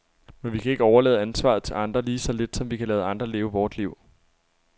Men vi kan ikke overlade ansvaret til andre, lige så lidt som vi kan lade andre leve vort liv.